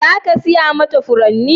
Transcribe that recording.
Za ka saya mata furanni?